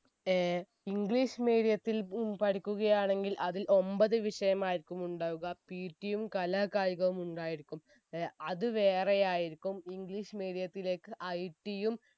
ഏർ english medium ത്തിൽ ഉം പഠിക്കുകയാണെങ്കിൽ അതിൽ ഒമ്പത് വിഷയമായിരിക്കും ഉണ്ടാവുക PT യും കലാ കായികവും ഉണ്ടായിരിക്കും ഏർ അത് വേറെ ആയിരിക്കും english medium ത്തിലെക്ക് IT യും